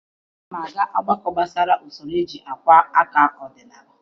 Ana m aga ọgbakọ gbasara usoro eji akwa aka ọdịnala.